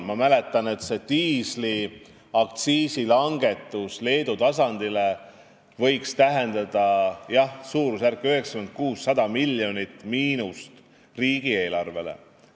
Ma mäletan ka, et diisliaktsiisi langetus Leedu tasandile võib tähendada suurusjärku 96–100 miljonit miinust riigieelarvele.